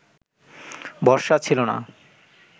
ভরসা ছিল না